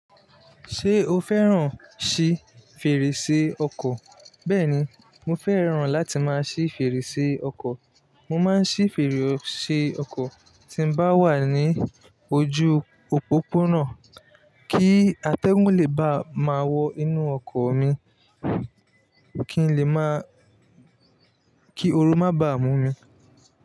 Ṣé o fẹ́ràn ṣí fèrèsé ọkọ̀? Bẹ́ẹ̀ni, mo fẹ́ràn láti máa ṣí fèrèsé ọkọ̀. Mo máa ń ṣí fèrèsé ọkọ̀ tí n bá wà ní ojú òpópónà, kí atẹ́gùn lè ba ma wọ inú ọkọ̀ mi, kí ooru má bá mú mi.